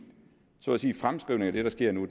fremskrivning af det der sker nu